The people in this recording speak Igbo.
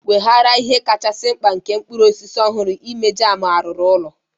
Weghaara ihe kachasi mkpa nke mkpụrụ osisi ọhụrụ n'ime jam arụrụ n'ụlọ.